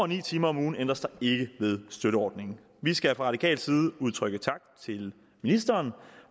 ni timer om ugen ændres der ikke ved støtteordningen vi skal fra radikal side udtrykke tak til ministeren